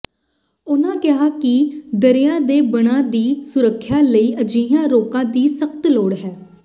ਉਨਾਂ ਕਿਹਾ ਕਿ ਦਰਿਆ ਦੇ ਬੰਨਾਂ ਦੀ ਸੁਰੱਖਿਆ ਲਈ ਅਜਿਹੀਆਂ ਰੋਕਾਂ ਦੀ ਸਖ਼ਤ ਲੋੜ ਹੈ